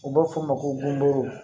U bɛ f'o ma ko bɔnburu